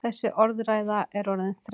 Þessi orðræða er orðin þreytt!